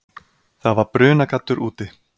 Það var brunagaddur úti.